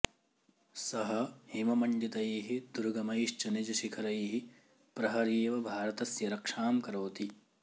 सः हिममण्डितैः दुर्गमैश्च निजशिखरैः प्रहरीव भारतस्य रक्षां करोति